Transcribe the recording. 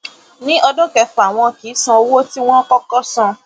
ní ọdún kẹfà wọn kì í san owó tí wọn kò kò san